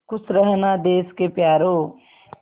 खुश रहना देश के प्यारों